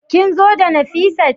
Kin zo da Nafisat?